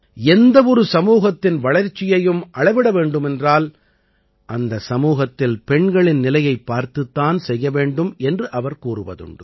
எந்த ஒரு சமூகத்தின் வளர்ச்சியையும் அளவிட வேண்டுமென்றால் அந்த சமூகத்தில் பெண்களின் நிலையைப் பார்த்துத் தான் செய்ய வேண்டும் என்று அவர் கூறுவதுண்டு